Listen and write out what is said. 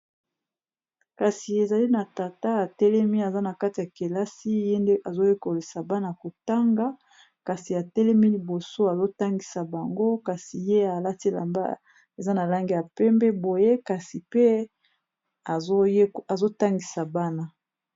Kasi ezali na tata atelemi aza na kati ya kelasi ye nde azoyekolisa bana kotanga kasi atelemi liboso azotangisa bango kasi ye alatilamba eza na lange ya pembe boye kasi pe azotangisa bana.